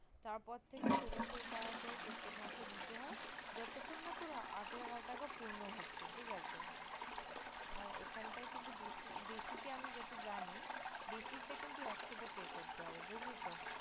তার পর থেকে ষোলোশো টাকা করে প্রত্যেক মাসে দিতে যতক্ষণ না তোর আঠারো হাজার টাকা পূর্ণ হচ্ছে ঠিক আছে আর এখানে basic আমি যতটা জানি basic তা কিন্তু একসাথে pay করতে হবে বুজলি